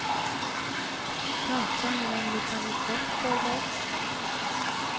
Kanske med en liten rosett därbak.